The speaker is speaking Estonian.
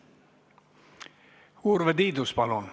Urve Tiidus, palun!